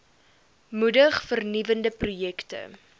moedig vernuwende projekte